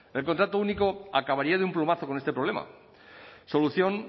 el contrato único acabaría de un plumazo con este problema solución